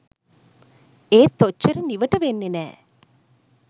එත් ඔච්චර නිවට වෙන්නේ නැ.